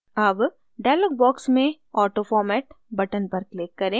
अब dialog box में autoformat button पर click करें